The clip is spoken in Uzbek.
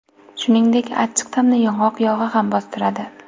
Shuningdek, achchiq ta’mni yong‘oq yog‘i ham bostiradi.